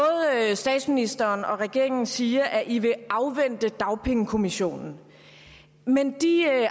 statsministeren og regeringen siger at de vil afvente dagpengekommissionen men de